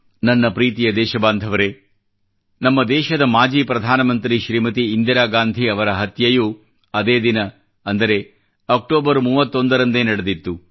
ನನ್ನ ಪ್ರೀತಿಯ ದೇಶಬಾಂಧವರೇ ನಮ್ಮ ದೇಶದ ಮಾಜಿ ಪ್ರಧಾನ ಮಂತ್ರಿ ಶ್ರೀಮತಿ ಇಂದಿರಾ ಗಾಂಧಿ ಅವರ ಹತ್ಯೆಯೂ ಅದೇ ದಿನ ಅಂದರೆ ಅಕ್ಟೋಬರ್ 31 ರಂದೇ ನಡೆದಿತ್ತು